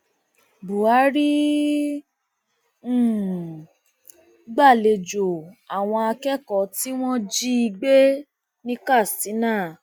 buhari um gbàlejò àwọn akẹkọọ tí wọn jí um gbé ní katsina